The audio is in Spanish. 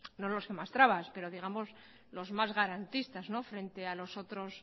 no los que mas trabas pero digamos los mas garantistas frente a los otros